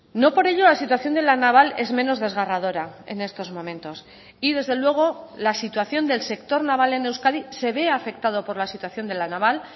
no por ello la situación de la naval es menos desgarradora en estos momentos y desde luego la situación del sector naval en euskadi se ve afectado por la situación de la naval